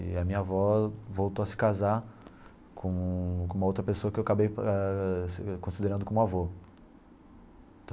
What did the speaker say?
E a minha avó voltou a se casar com com uma outra pessoa que eu acabei ah considerando como avô.